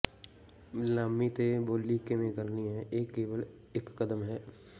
ਨਿਲਾਮੀ ਤੇ ਬੋਲੀ ਕਿਵੇਂ ਕਰਨੀ ਹੈ ਇਹ ਕੇਵਲ ਇਕ ਕਦਮ ਹੈ